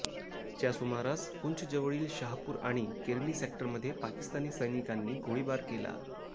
च्या सुमारास पुंछजवळील शाहपूर आणि केरनी सेक्टरमध्ये पाकिस्तानी सैनिकांनी गोळीबार केला